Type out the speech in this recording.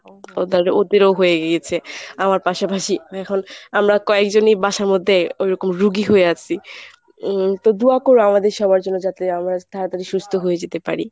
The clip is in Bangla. ওদেরও হয়ে গিয়েছে আমার পাশাপাশি, আমি এখন আমরা কয়েকজনই বাসার মধ্যে ওরকম রুগী হয়ে আছি উম তো দোয়া করো আমাদের সবার জন্য যাতে আমরা তাড়াতাড়ি সুস্থ হয়ে যেতে পারি।